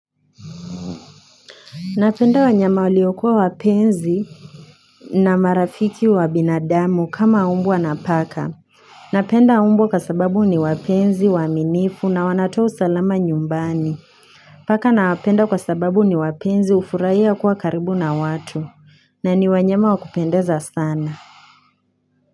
Napenda wanyama waliokuwa wapenzi na marafiki wa binadamu kama mbwa na paka. Napenda mbwa kwa sababu ni wapenzi, waaminifu na wanatoa usalama nyumbani. Paka nawapenda kwa sababu ni wapenzi hufurahia kuwa karibu na watu na ni wanyama wa kupendeza sana.